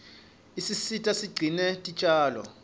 isisita sigcine tinjalo